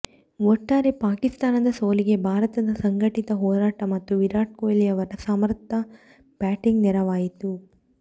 ಒಟ್ಟಾರೆ ಪಾಕಿಸ್ತಾನದ ಸೋಲಿಗೆ ಭಾರತದ ಸಂಘಟಿತ ಹೋರಾಟ ಮತ್ತು ವಿರಾಟ್ ಕೊಹ್ಲಿ ಅವರ ಸಮರ್ಥ ಬ್ಯಾಟಿಂಗ್ ನೆರವಾಯಿತು